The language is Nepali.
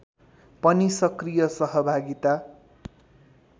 पनि सक्रिय सहभागिता